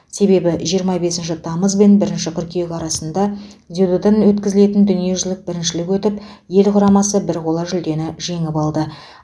себебі жиырма бесінші тамыз бен бірінші қыркүйек арасында дзюдодан дүниежүзілік біріншілік өтіп ел құрамасы бір қола жүлдені жеңіп алды